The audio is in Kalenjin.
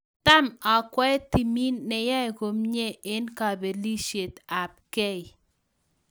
Tam akwee timiit neyae komie eng kabelisiet ab gei